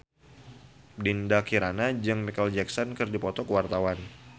Dinda Kirana jeung Micheal Jackson keur dipoto ku wartawan